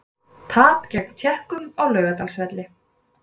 Tap gegn Tékkum á Laugardalsvelli